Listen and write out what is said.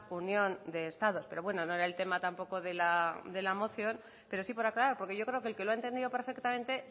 unión de estados pero bueno no era el tema tampoco de la moción pero sí por aclarar porque yo creo que el que lo ha entendido perfectamente